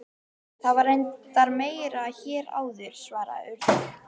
Það var reyndar meira hér áður- svaraði Urður.